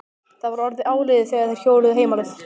Það var orðið áliðið þegar þeir hjóluðu heim á leið.